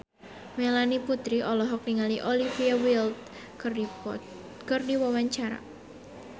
Melanie Putri olohok ningali Olivia Wilde keur diwawancara